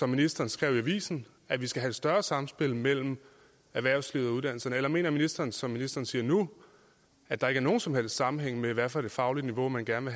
ministeren skrev i avisen at vi skal have et større samspil mellem erhvervslivet og uddannelserne eller mener ministeren som ministeren siger nu at der ikke er nogen som helst sammenhæng mellem hvad for et fagligt niveau man gerne